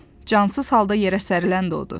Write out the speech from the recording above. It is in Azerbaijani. cansız halda yerə sərilən də odur.